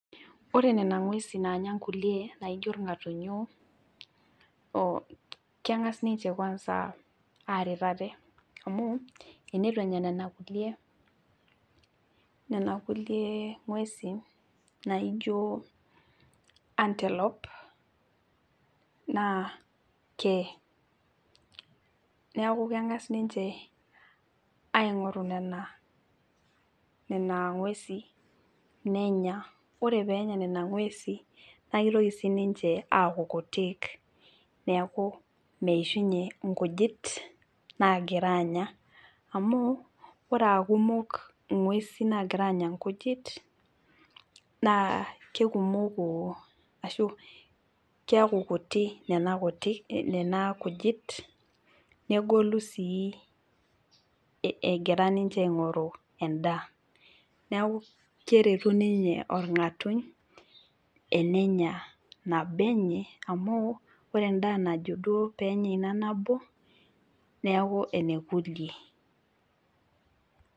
Ore nena ngwesin naanya nkulie enaa irngatunyoo naa kengas niche aret ate amu tenitu enya nena gwesin naijo antelop naa kee ,neeku kengas ninche aingoru nena gwesin nenya ,ore pee enya nena gwesin naa kitoki siininche aaku kutik neeku meishunye nkujit naagira anya ,amu ore paa kumok ngwesin naagira anya nkujit ,amu ore pee eku kutik nena kujit negolu sii egira aingoru enda ,neeku keretu ninye orgatuny tenenya nabo enye amu ore endaa naijo duo pee enya ina nabo neeku enekulie.